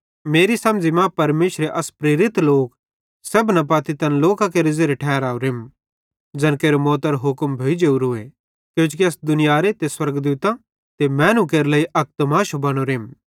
मेरी समझ़ी मां परमेशरे अस प्रेरित लोक सेब्भना पत्ती तैन लोकां केरे ज़ेरे ठहरावरेम ज़ैन केरे मौतरो हुक्म भोइ जेवरोए किजोकि अस दुनियारे ते स्वर्गदूतां ते मैनू केरे लेइ अक तमाशो बनोरेम